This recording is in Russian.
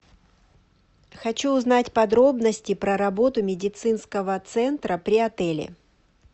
хочу узнать подробности про работу медицинского центра при отеле